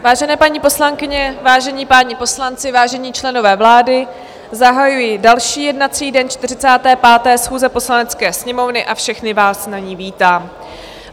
Vážené paní poslankyně, vážení páni poslanci, vážení členové vlády, zahajuji další jednací den 45. schůze Poslanecké sněmovny a všechny vás na ní vítám.